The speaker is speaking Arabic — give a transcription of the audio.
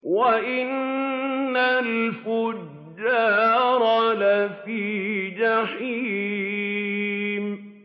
وَإِنَّ الْفُجَّارَ لَفِي جَحِيمٍ